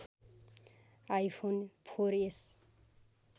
iPhone four S